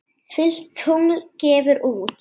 Fullt tungl gefur út.